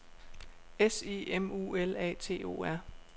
S I M U L A T O R